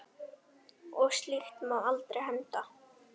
Og slíkt má aldrei henda.